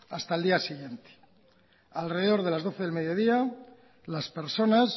hasta el día siguiente alrededor de las doce del mediodía las personas